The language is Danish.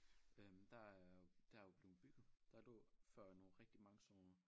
Øh der er der jo blevet bygget der lå før nogle rigtig mange sådan nogle